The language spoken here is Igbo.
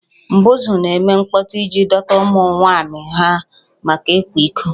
M̀bụ̀zú na-eme mkpọtụ iji dọta ụmụ nwanyị ha maka ịkwa iko